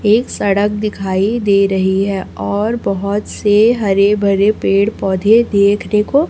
एक सड़क दिखाई दे रही है और बहुत से हरे भरे पेड़ पौधे देखने को --